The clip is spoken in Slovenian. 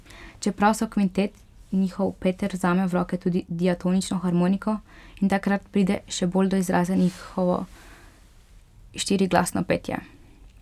Čeprav so kvintet, njihov Peter vzame v roke tudi diatonično harmoniko in takrat pride še bolj do izraza njihovo štiriglasno petje.